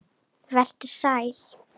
Vertu sæl!